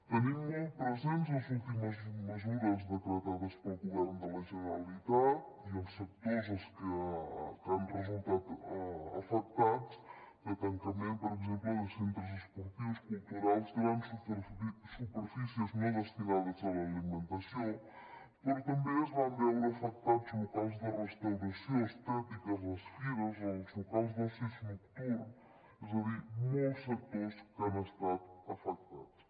tenim molt presents les últimes mesures decretades pel govern de la generalitat i els sectors que han resultat afectats de tancament per exemple de centres esportius culturals grans superfícies no destinades a l’alimentació però també es van veure afectats locals de restauració estètica les fires els locals d’oci nocturn és a dir molts sectors que han estat afectats